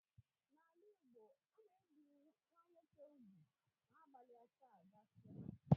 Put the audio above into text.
N'ala Igbo ana ebi nwa nwoke úgwù na ụbọchị asaa gasia